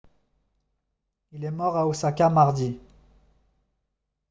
il est mort à osaka mardi